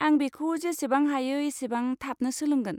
आं बेखौ जेसेबां हायो एसेबां थाबनो सोलोंगोन।